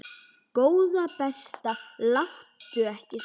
Góða besta láttu ekki svona!